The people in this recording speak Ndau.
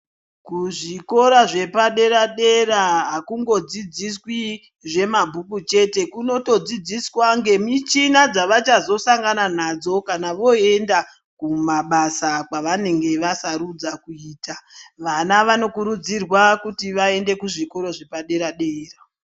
Kuzvikora zvepadera dera akungodzidziswi zvemabhuku chete kunotodzidziswa ngemichina dzavachazosangana nadzo kana voenda kumabasa kwavanenge vasarudza kuita vana vanokurudzirwa kuti vaende kuzvikora zvedera dera.